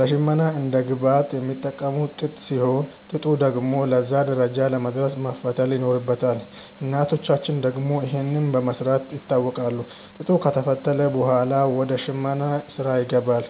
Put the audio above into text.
ለሽመና እንደ ግብአት የሚጠቀሙት ጥጥ ሲሆን፣ ጥጡ ደግሞ ለዛ ደረጃ ለመድረስ መፈተል ይኖርበታል። እናቶቻችን ደግሞ ይህንን በመስራት ይታወቃሉ። ጥጡ ከተፈተለ ብኋላ ወደ ሽመናው ስራ ይገባል።